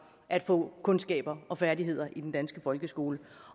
at få kundskaber og færdigheder i den danske folkeskole